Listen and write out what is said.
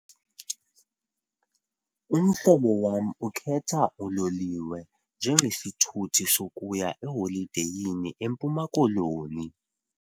Umhlobo wam ukhetha uloliwe njengesithuthi sokuya eholideyini eMpuma Koloni.